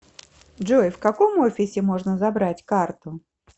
джой в каком офисе можно забрать карту